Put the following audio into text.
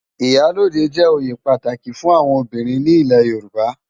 Iyá lódé jè óyé pàtáki fún áwòn óbirin ni ilé Yoruba